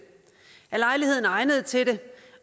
er lejligheden egnet til det